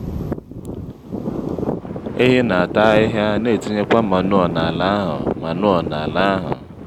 ehi n'ata ahịhịa n'etinyekwa manụo n'ala ahụ manụo n'ala ahụ